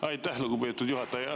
Aitäh, lugupeetud juhataja!